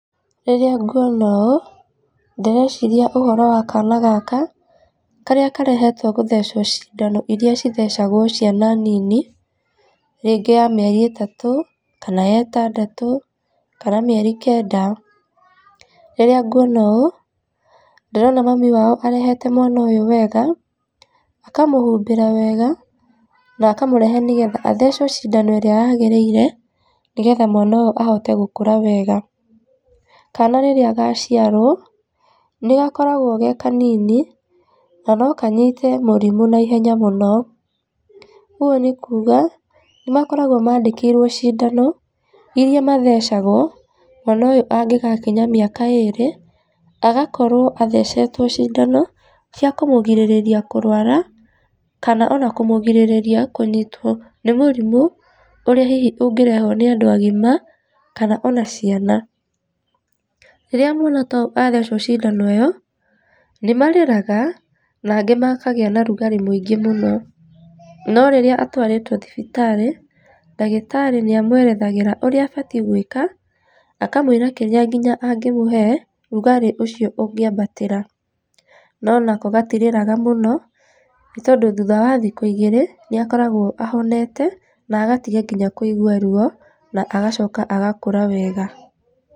Rĩrĩa ngũona ũũ, ndĩreciria ũhoro wa kana gaka, karĩa karehetwo gũthecwo cindano iria cithecagwo ciana nini, rĩngĩ ya mĩeri ĩtatũ kana ya ĩtandatũ, kana mĩeri kenda. Rĩrĩa ngũona ũũ ndĩrona mami wao arehete mwana ũyũ wega, akamũhumbĩra wega, na akamũrehe nĩgetha athecwo cindano ĩrĩa yagĩrĩire nĩgetha mwana ũyũ ahote gũkũra wega . Kaana rĩrĩa gaciarwo nĩgakoragwo ge kanini na no kanyite mũrimũ na ihenya mũno. Ũguo nĩ kuga nĩ makoragwo mandĩkĩirwo cindano iria mathecagwo mwana ũyũ angĩgakinya mĩaka ĩrĩ mwana ũyũ agakorwo athecetwo cindano cia kũmũgirĩrĩria kũrwara kana ona kũmũgirĩrĩria kũnyitwo nĩ mũrimũ ũrĩa hihi ũngĩrehwo nĩ andũ agima, kana ona ciana. Rĩrĩa mwana ta ũyũ athecwo cindano ĩyo nĩ marĩraga na angĩ makagĩa na ũrugarĩ mũingĩ mũno. No rĩrĩa atwarĩtwo thibitarĩ ndagĩtarĩ nĩ amwerethagĩra ũrĩa abatie gwĩka, akamũĩra nginya kĩrĩa nagĩmũhe rugarĩ ũcio ũngĩambatĩra no nako gatirĩraga mũno nĩ tondũ thutha wa thikũ igĩrĩ nĩ akoragwo ahonete na agatiga nginya kũigwa ruo na agacoka agakũra wega.